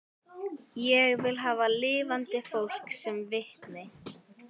Ég vil hafa lifandi fólk sem vitni